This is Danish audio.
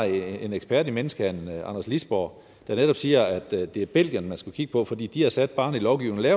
jo en ekspert i menneskehandel anders lisborg der netop siger at det er belgierne man skal kigge på for de har sat barren i lovgivningen